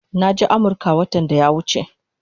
Naje Amirka watan daya wuche